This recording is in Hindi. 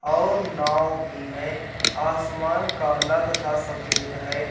और नाव भी है। आसमान काला तथा सफेद है।